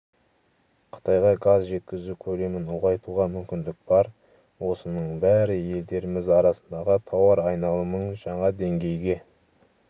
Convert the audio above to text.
қытайға газ жеткізу көлемін ұлғайтуға мүмкіндік бар осының бәрі елдеріміз арасындағы тауар айналымын жаңа деңгейге